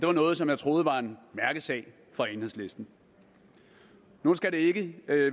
er noget som jeg troede var en mærkesag for enhedslisten nu skal det ikke